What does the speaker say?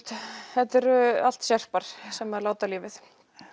þetta eru allt sem láta lífið